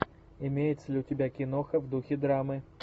имеется ли у тебя киноха в духе драмы